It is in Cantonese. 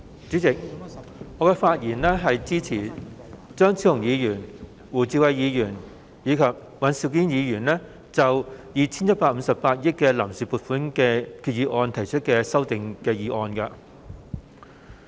主席，我發言支持張超雄議員、胡志偉議員及尹兆堅議員就 2,158 億元臨時撥款決議案提出的修訂議案。